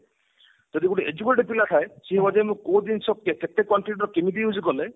ଯଦି ଗୋଟେ educated ପିଲା ଥାଏ ସେ ବର୍ତମାନ କୋଉ ଜିନିଷ କେତେ quantity ର କେମତି use କଲେ